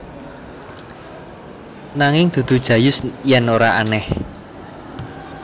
Nanging dudu Jayus yen ora aneh